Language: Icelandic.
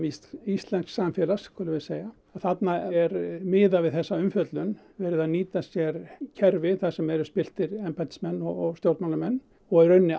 íslensks samfélags skulum við segja þarna er miðað við þessa umfjöllun verið að nýta sér kerfi þar sem eru spilltir embættismenn og stjórnmálamenn og í rauninni